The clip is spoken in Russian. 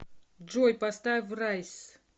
джой поставь райз